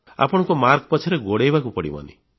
ଆପଣଙ୍କୁ ମାର୍କସ୍ ପଛରେ ଗୋଡ଼ାଇବାକୁ ପଡ଼ିବନି